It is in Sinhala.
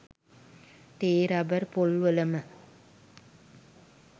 තේ රබර් පොල් වලම